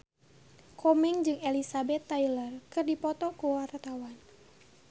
Komeng jeung Elizabeth Taylor keur dipoto ku wartawan